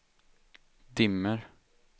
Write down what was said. dimmer